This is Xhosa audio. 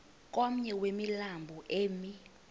komnye wemilambo emi